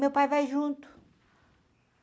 Meu pai vai junto.